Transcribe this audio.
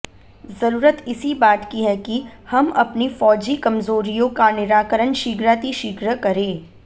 जरूरत इसी बात की है कि हम अपनी फौजी कमजोरियों का निराकरण शीघ्रातिशीघ्र करें